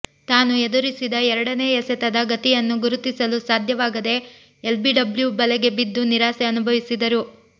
ತಾನು ಎದುರಿಸಿದ ಎರಡನೇ ಎಸೆತದ ಗತಿಯನ್ನು ಗುರುತಿಸಲು ಸಾಧ್ಯವಾಗದೆ ಎಲ್ಬಿಡಬ್ಲ್ಯೂ ಬಲೆಗೆ ಬಿದ್ದು ನಿರಾಸೆ ಅನುಭವಿಸಿದರು